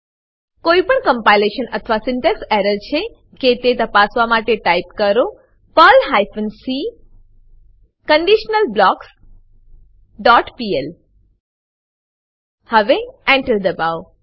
કોઈપણ કમ્પાઈલેશન અથવા syntax error છે કે તે તપાસવા માટે ટાઈપ કરો Perl hyphen c conditional blocks dot pl હવે Enter દબાવો